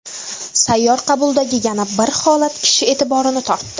Sayyor qabuldagi yana bir holat kishi e’tiborini tortdi.